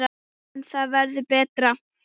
En það verður betra.